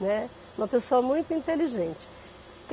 Né. Uma pessoa muito inteligente.